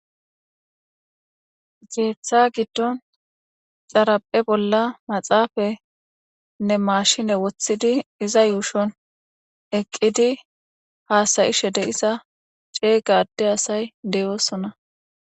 Ketha gidon xaraphe bola maxafanne mashine wothidi iza yushon eqidi hasa'ishe de'za c'ega ade asay de'osona.